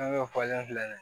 filɛ nin ye